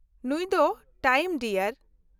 ᱱᱩᱭ ᱫᱚ time dear.